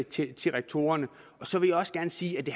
til til rektorerne så vil jeg også gerne sige at det